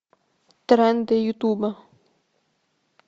тренды ютуба